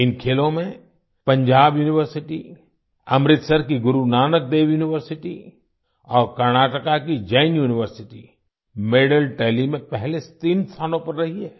इन खेलों में पंजाब यूनिवर्सिटी अमृतसर की गुरू नानक देव यूनिवर्सिटी और कर्नाटका की जैन यूनिवर्सिटी मेडल टैली में पहले तीन स्थानों पर रही है